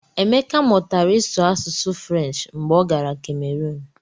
Emeka mụtara ịsụ asụsụ Frenshi mgbe ọ gara Kemerun.